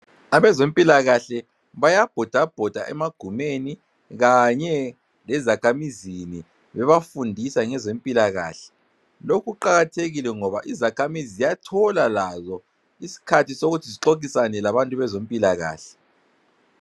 Abezempilakahle bayabhoda bhoda emagumeni kanye lezakhamizini bebafundisa ngezempilakahle, lokhu kuqakathekile ngoba izakhamizi ziyathola lazo iskhathi sokuthi zixoxisane labantu bezompilakahle.